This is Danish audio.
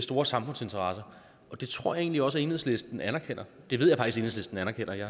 store samfundsinteresser og det tror jeg egentlig også enhedslisten anerkender det ved jeg faktisk at enhedslisten anerkender jeg